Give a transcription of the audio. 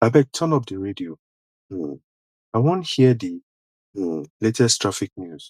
abeg turn up di radio um i wan hear di um latest traffic news